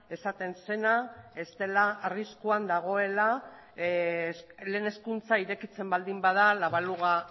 esaten zena ez dela arriskuan dagoela lehen hezkuntza irekitzen baldin bada la baluga